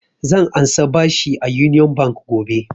Zan ansa bashi a union bank gobe